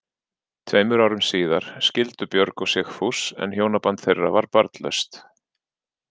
Tveimur árum síðar skildu Björg og Sigfús en hjónaband þeirra var barnlaust.